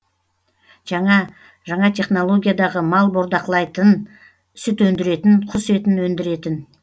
жаңа жаңа технологиядағы мал бордақылайытын сүт өндіретін құс етін өндіретін